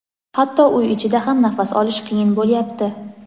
Hatto uy ichida ham nafas olish qiyin bo‘lyapti.